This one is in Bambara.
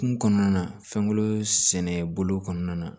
Kun kɔnɔna fɛnko sɛnɛbolo kɔnɔna na